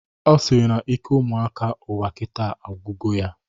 Ọ sịrị na ike ụmụaka ụwa kita agwugo ya